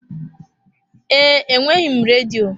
Ee, enweghị m redio.